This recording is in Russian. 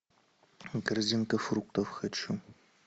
корзинка фруктов хочу